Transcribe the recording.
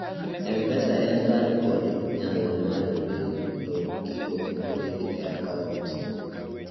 mpesa en kar nikod nyalo mar wilo gigo mondiki ei akauont